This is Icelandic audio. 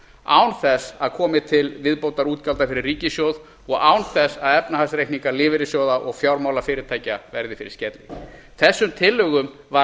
án þess að komi til viðbótarútgjalda fyrir ríkissjóð og án þess að efnahagsreikningar lífeyrissjóða og fjármálafyrirtækja verði fyrir skerðingu þessum tillögum var